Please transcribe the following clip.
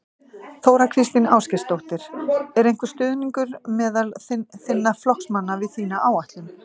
Þóra Kristín Ásgeirsdóttir: Er einhver stuðningur meðal þinna flokksmanna við þína áætlun?